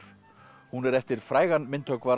hún er eftir frægan myndhöggvara